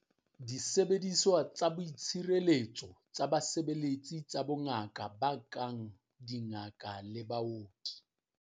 Disebediswa tsa boitshireletso tsa basebeletsi tsa bongaka ba kang dingaka le baoki.